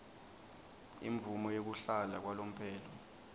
imvumo yekuhlala kwalomphelo